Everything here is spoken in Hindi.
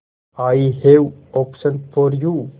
I have option for you